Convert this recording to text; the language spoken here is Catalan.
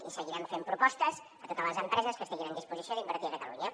i seguirem fent propostes a totes les empreses que estiguin en disposició d’invertir a catalunya